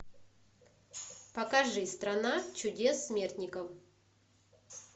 покажи страна чудес смертников